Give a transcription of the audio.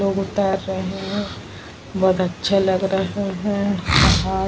लोग उतर रहे है बहुत अच्छे लग रहे है ।